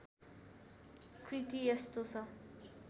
कृति यस्तो छ